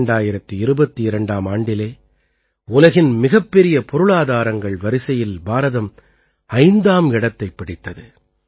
2022ஆம் ஆண்டிலே உலகின் மிகப்பெரிய பொருளாதாரங்கள் வரிசையில் பாரதம் ஐந்தாம் இடத்தைப் பிடித்தது